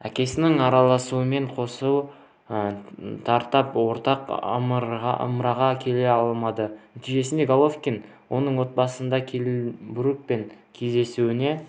әкесінің араласуынан қос тарап ортақ ымыраға келе алмады нәтижесінде головкин оның отандасы келл брукпен кездесуіне